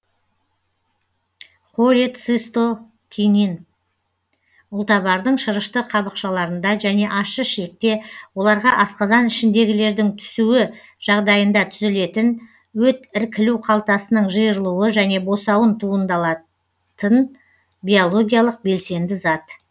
холецистокинин ұлтабардың шырышты қабықшаларында және ащы ішекте оларға асқазан ішіндегілердің түсуі жағдайында түзілетін өт іркілу қалтасының жиырылуы және босауын туындалатын биологиялық белсенді зат